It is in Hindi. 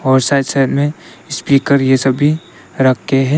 और साइड साइड में स्पीकर यह सभी रख के हैं।